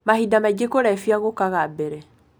Mahinda mangĩ kũlevya gũkaga mbere.